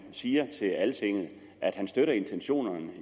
siger til altinget at han støtter intentionerne